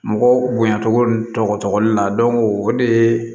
Mɔgɔw bonya cogo tɔgɔ la o de ye